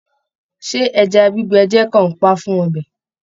Ṣé ẹja gbígbẹ jẹ kanpa fún ọbẹ?